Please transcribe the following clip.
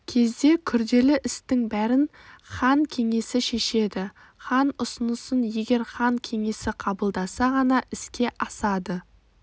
кезде күрделі істің бәрін хан кеңесі шешеді хан ұсынысын егер хан кеңесі қабылдаса ғана іске асады